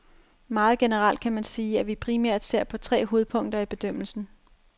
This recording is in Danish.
Meget generelt kan man sige, at vi primært ser på tre hovedpunkter i bedømmelsen.